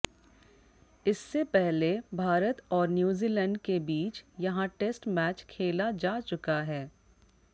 इससे पहले भारत और न्यूजीलैंड के बीच यहां टेस्ट मैच खेला जा चुका है